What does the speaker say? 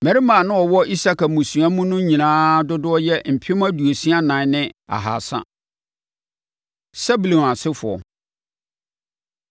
Mmarima a na wɔwɔ Isakar mmusua no mu no nyinaa dodoɔ yɛ mpem aduosia nan ne ahasa (64,300). Sebulon Asefoɔ